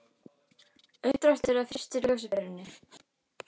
Uppdráttur að fyrstu ljósaperunni.